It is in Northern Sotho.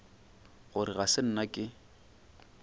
gore ga se nna ke